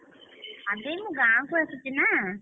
ଆବେ ମୁଁ ଗାଁକୁ ଆସିଛି ନା,